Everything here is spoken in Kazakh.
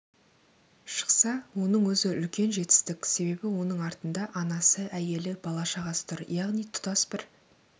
шықса оның өзі үлкен жетістік себебі оның артында анасы әйелі бала-шағасы тұр яғни тұтас бір